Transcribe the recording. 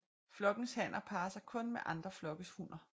Flokkens hanner parrer sig kun med andre flokkes hunner